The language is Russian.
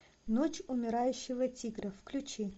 ночь умирающего тигра включи